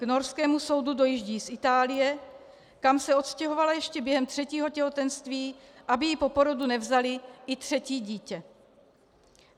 K norskému soudu dojíždí z Itálie, kam se odstěhovala ještě během třetího těhotenství, aby jí po porodu nevzali i třetí dítě.